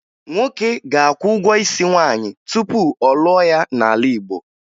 Nwoke ga-akwụ ụgwọ isi nwaanyị tupu ọ lụọ ya n'ala Igbo